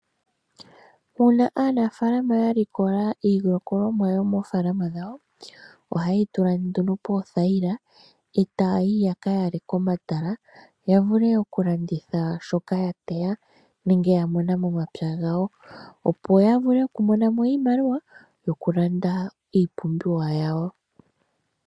Una aanafaalama yalikola iilikolomwa yomofaalama dhawo oha yeyi tula nduno pothayila e ta yayi yaka yale komatala ,ya vule okulanditha shoka yateya nenge yamona momapya gawo opo ya vule okumona mo iimaliwa yokulanda iipumbiwa yawo.